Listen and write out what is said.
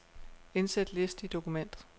Indsæt liste i dokumentet.